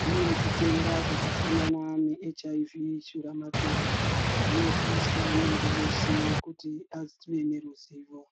Kune zvitenda zvakafanana neechayivhi kana shuramatongo zvinoziyiswa muntu weshe kuti ave neruzivo.